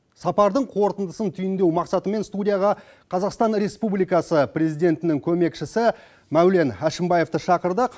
сапардың қорытындысын түйіндеу мақсатымен студияға қазақстан республикасы президентінің көмекшісі мәулен әшімбаевты шақырдық